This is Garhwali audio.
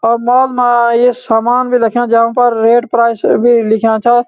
अब मॉल मा ये सामान भी रख्यां जा पर रेट प्राइस भी लिख्याँ छा।